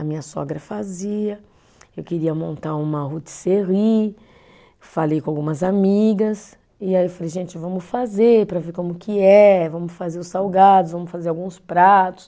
A minha sogra fazia, eu queria montar uma rotisserie, falei com algumas amigas e aí eu falei, gente, vamos fazer para ver como que é, vamos fazer os salgados, vamos fazer alguns pratos.